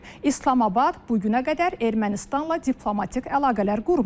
İslamabad bu günə qədər Ermənistanla diplomatik əlaqələr qurmayıb.